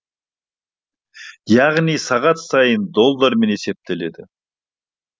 яғни сағат сайын доллармен есептеледі